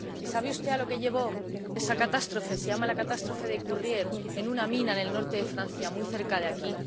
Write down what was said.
¿Y sabe usted a lo que llevó esa catástrofe? Se llama la Catástrofe de Courrières, en una mina del norte de Francia, muy cerca de aquí.